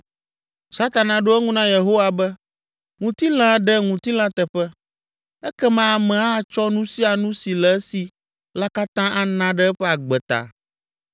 Satana ɖo eŋu na Yehowa be, “Ŋutilã ɖe ŋutilã teƒe, ekema ame atsɔ nu sia nu si le esi la katã ana ɖe eƒe agbe ta.